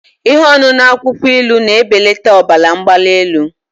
Ihe ọṅụṅụ akwukwo ilu na-ebelata ọbara mgbali elu